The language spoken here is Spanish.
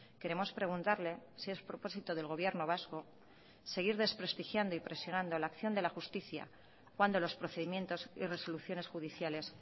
queremos preguntarle si es propósito del gobierno vasco seguir desprestigiando y presionando la acción de la justicia cuando los procedimientos y resoluciones judiciales